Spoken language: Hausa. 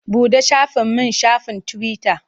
Buɗe shafin min shafin tiwita.